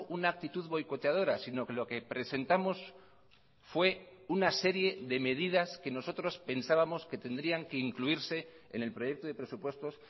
una actitud boicoteadora sino que lo que presentamos fue una serie de medidas que nosotros pensábamos que tendrían que incluirse en el proyecto de presupuestos